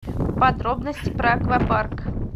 подробности про аквапарк